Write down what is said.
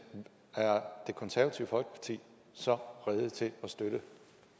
er det konservative folkeparti så rede til at støtte